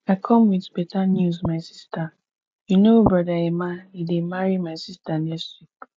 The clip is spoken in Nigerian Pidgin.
i come with beta news my sister you know brother emma he dey marry my sister next week